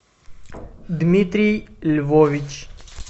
дмитрий львович